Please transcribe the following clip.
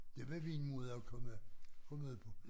Det var min måde at komme komme ud på